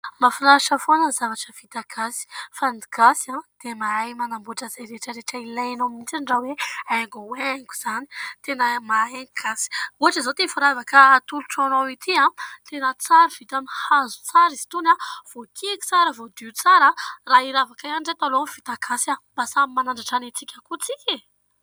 Mahafinaritra foana ny zavatra vita gasy fa ny gasy dia mahay manamboatra izay rehetrarehetra ilainao mitsiny raha hoe haingohaingo izany tena mahay ny gasy. Ohatra izao ity firavaka atolotro anao ity, tena tsara vita amin'ny hazo tsara izy itony, voakiky tsara, voadio tsara. Raha iravaka ihany ireto aleo ny vita gasy mba samy manandratra ny antsika ihany koa tsika.